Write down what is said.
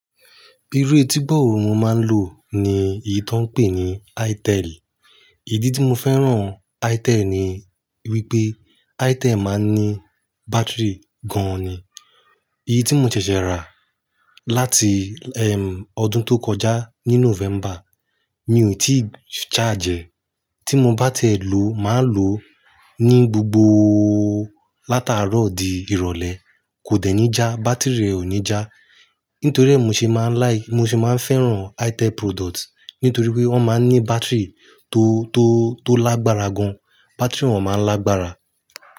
Irú etígbò wo mo máa ń lò ni èyí tó ń pè ní Itel. Ìdí tí mo fẹ́ràn Itel ni wípé Itel máa ń ní bátìrì gan ni. Èyí tí mo ṣẹ̀ṣẹ̀ rà láti, ẹm, ọdún tó kọjá ní November, mi ò tí charge ẹ̀h. Tí mo bá tẹ̀ ẹ ló, màá lò ó ní gbogbo látàárọ̀ di ìrọ̀lẹ́. Kò dẹ̀ ní já, bátìrì rẹ ò ní já. Nítorí ẹ ni mọ ṣe máa like, mo sì máa ń fẹ́ràn Itel product nítorí wípé wọ́n máa ń ní bátìrì tó, tó, tó lágbára gan. Bátìrì wọn máa ń lágbára.